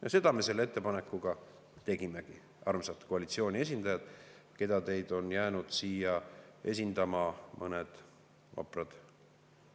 Ja seda me selle ettepanekuga tegimegi, armsad koalitsiooniliikmed, keda on jäänud siia esindama mõned vaprad.